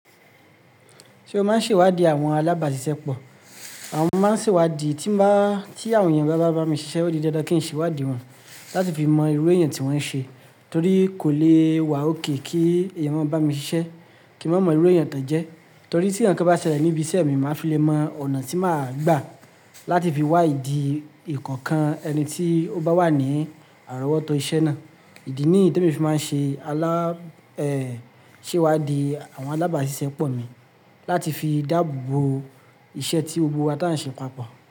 Ṣé o máa ń ṣèwádìí àwọn alábàáṣiṣẹ́ pọ̀? Àwọn máa ń ṣèwádìí tí bà, tí àwọn èèyàn bá bá mi ṣiṣẹ́ ó di dandan kí n ṣèwádìí wọn láti fi mọ irú èèyàn tí wọ́n ṣe torí kò le wà okay kí èèyàn máa bá mi ṣiṣẹ́ kí ń má mọ irú èèyàn tan jẹ́ torí tí nǹkankan bá ṣẹlẹ̀ níbi iṣẹ́ mi, màá fi lè mọ ọ̀nà tí màá gbà láti fi wá ìdí ikookan ẹni tí ó bá wà ní àrọ́wọ́tó iṣẹ́ náà. Ìdí nìyí ni Temi fi máa ń ṣe aláa, ẹ́ ṣèwádìí àwọn alábáàṣiṣẹ́ pọ̀ mi láti fi dáàbò bo iṣẹ́ tí gbogbo wa táa ń ṣe papọ̀